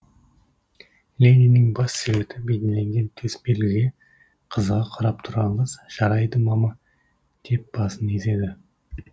лениннің бас суреті бейнеленген төсбелгіге қызыға қарап тұрған қыз жарайды мама деп басын изеді